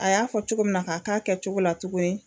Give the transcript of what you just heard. A y'a fɔ cogo min na ka k'a kɛcogo la tuguni.